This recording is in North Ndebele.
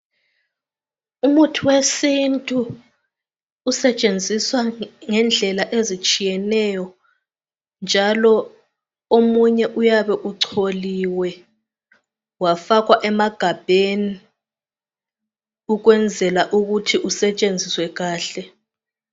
Umuthi wesintu usetshenziswa ngendlela ezitshiyeneyo njalo omunye uyabe ucholiwe wafakwa emagabheni ukwenzela ukuthi usetshenziswe kahle.